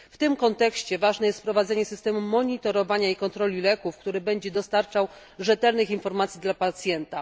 W tym kontekście ważne jest wprowadzenie systemu monitorowania i kontroli leków, który będzie dostarczał rzetelnych informacji dla pacjenta.